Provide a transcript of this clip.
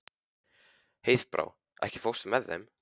Heiðbrá, ekki fórstu með þeim?